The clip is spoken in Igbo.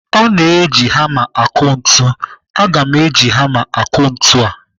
A na-eji hama akụ ntu. Aga m eji hama akụ ntu a.